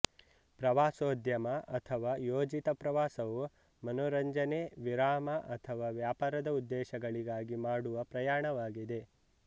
ಪ್ರವಾಸೋದ್ಯಮ ಅಥವಾ ಯೋಜಿತ ಪ್ರವಾಸವು ಮನರಂಜನೆ ವಿರಾಮ ಅಥವಾ ವ್ಯಾಪಾರದ ಉದ್ದೇಶಗಳಿಗಾಗಿ ಮಾಡುವ ಪ್ರಯಾಣವಾಗಿದೆ